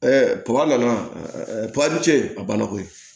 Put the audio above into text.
papa nana ni ce a banna ko ye